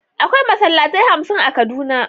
Akwai Masallatai hamsin a kaduna.